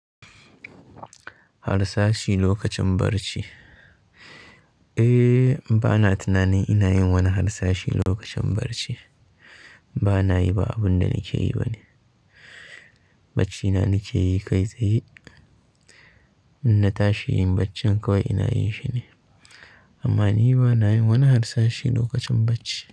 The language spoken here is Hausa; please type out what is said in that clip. Harsashi lokacin barci? Eh, bana tunanin ina yin wani harsashi lokacin barci. Bana yi ba abin da nake yi bane. Baccina nake yi kai tsaye. Inna tashi yin baccin kawai ina yin shi ne. Amma ni bana yin wani harsashi lokacin bacci.